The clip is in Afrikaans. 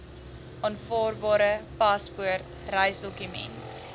aanvaarbare paspoort reisdokument